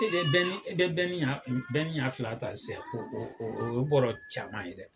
e bɛ e bɛ ɲa ɲa fila ta sisan o o o ye bɔɔrɔ caman ye dɛ.